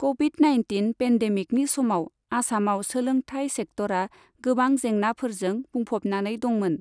Covid nineteen पेन्डेमिकनि समाव आसामाव सोलोंथाइ सेक्तरा गोबां जेंनाफोरजों बुंफबनानै दंमोन।